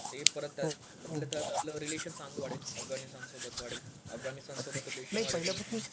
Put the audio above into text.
ते परत आपलं रिलेशन चांगलं वाढेल. अफगाणिस्थान सोबत वाढेल. अफगाणिस्थान सोबत